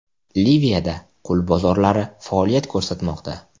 Liviyada qul bozorlari faoliyat ko‘rsatmoqda.